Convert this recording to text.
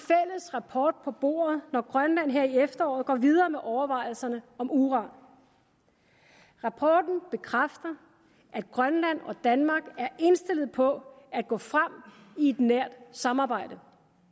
rapport på bordet når grønland her i efteråret går videre med overvejelserne om uran rapporten bekræfter at grønland og danmark er indstillet på at gå frem i et nært samarbejde